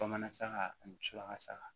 Bamanan saga ani muso la saga